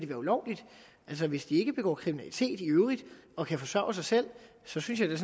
her ulovligt altså hvis de i øvrigt ikke begår kriminalitet og kan forsørge sig selv selv synes jeg